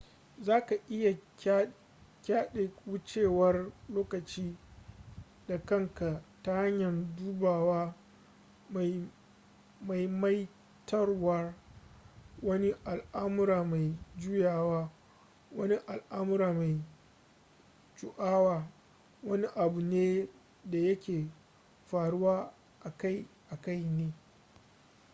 za ka iya ƙayyade wucewar lokaci da kanka ta hanyar dubawa maimaitawaar wani al'amura mai juyawa wani al'amura mai juawa wani abu ne da yake faruwa akai-akai ne